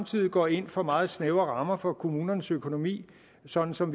side går ind for meget snævre rammer for kommunernes økonomi sådan som